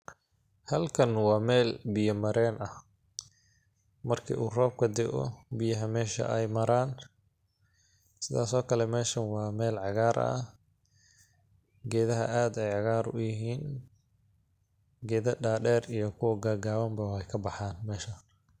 Halkan waa meel biya mareen ah ,marki uu roobka daoh ,biyaha meesha ay maraan ,sidaas oo kale meeshan waa meel cagaar ah ,geedaha aad ayeey cagaar u yihiin ,geeda dhadheer iyo kuwa gaagaaban bo weey ka baxaan .